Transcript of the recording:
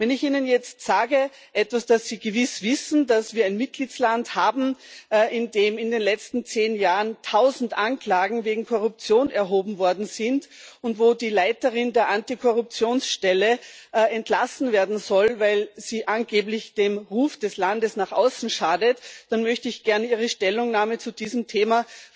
Wenn ich Ihnen jetzt sage etwas, das Sie gewiss wissen dass wir einen Mitgliedstaat haben, in dem in den letzten zehn Jahren 1000 Anklagen wegen Korruption erhoben worden sind und wo die Leiterin der Antikorruptionsstelle entlassen werden soll, weil sie angeblich dem Ruf des Landes nach außen schadet, dann möchte ich sehr wohl wissen, wie Ihre Stellungnahme zu diesem Thema